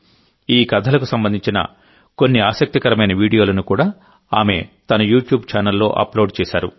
ఈ కథలకు సంబంధించిన కొన్ని ఆసక్తికరమైన వీడియోలను కూడా ఆమె తన యూట్యూబ్ ఛానెల్లో అప్లోడ్ చేశారు